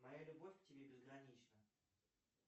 моя любовь к тебе безгранична